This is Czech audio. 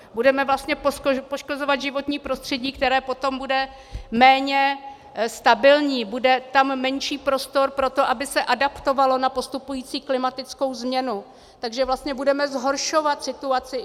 Budeme vlastně poškozovat životní prostředí, které potom bude méně stabilní, bude tam menší prostor pro to, aby se adaptovalo na postupující klimatickou změnu, takže vlastně budeme zhoršovat situaci.